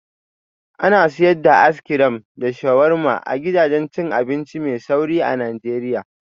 Ana sayar da as crim da sharuwarma a gidajen abinci mai sauri a Najeriya